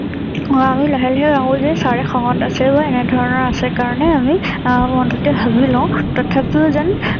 অ আমি লাহে লাহে ভাবো যে চাৰে খঙত আছে। বা এনে ধৰণৰ আছে কাৰণে আমি অ মনটো তে ভাৱি লওঁ তথাপিও যেন